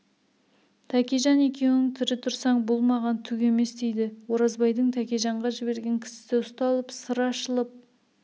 тәкежан екеуің тірі тұрсаң бұл маған түк емес дейді оразбайдың тәкежанға жіберген кісісі ұсталып сыр ашылып